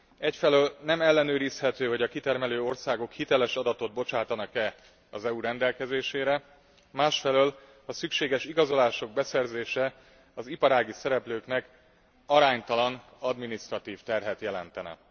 Egyfelől nem ellenőrizhető, hogy a kitermelő országok hiteles adatot bocsátanak e az EU rendelkezésére, másfelől a szükséges igazolások beszerzése az iparági szereplőknek aránytalan adminisztratív terhet jelentene.